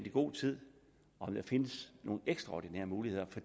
i god tid om der findes nogle ekstraordinære muligheder